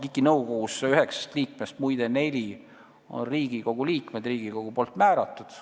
Muide, KIK-i nõukogu üheksast liikmest neli on Riigikogu liikmed, kelle Riigikogu on määranud.